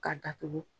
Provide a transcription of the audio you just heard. Ka datugu